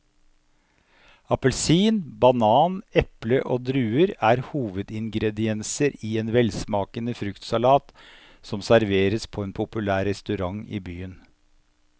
Appelsin, banan, eple og druer er hovedingredienser i en velsmakende fruktsalat som serveres på en populær restaurant i byen.